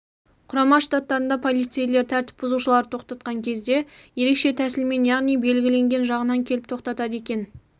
құрама штаттарында полицейлер тртіп бұзушыларды тоқтатқан кезде ерекше тәсілмен яғни белгіленген жағынан келіп тоқтатады екен